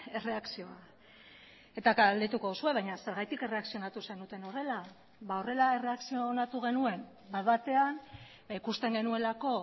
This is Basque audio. erreakzioa eta galdetuko duzue baina zergatik erreakzionatu zenuten horrela horrela erreakzionatu genuen bat batean ikusten genuelako